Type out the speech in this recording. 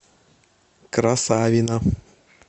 красавино